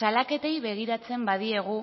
salaketei begiratzen badiegu